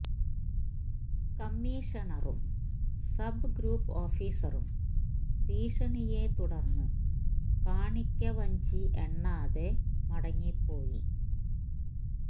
കമ്മിഷണറും sub group ഓഫീസറും ഭീഷണിയെ തുടർന്ന് കാണിക്കവഞ്ചി എണ്ണാതെ മടങ്ങിപ്പോയി